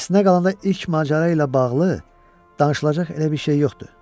Əslinə qalanda ilk macəra ilə bağlı danışılacaq elə bir şey yoxdur.